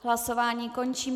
Hlasování končím.